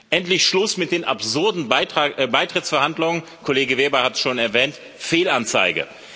Endlich Schluss mit den absurden Beitrittsverhandlungen, Kollege Weber hat es schon erwähnt Fehlanzeige!